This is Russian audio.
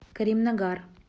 каримнагар